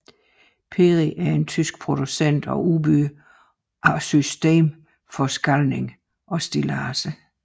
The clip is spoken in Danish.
PERI er en tysk producent og udbyder af systemforskalling og stilladser